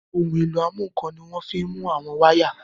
Ohun èlò ìmúnǹkan ni wọ́n fi ń mú àwọn wáyà